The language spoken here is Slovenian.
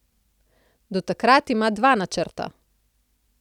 Do takrat ima dva načrta.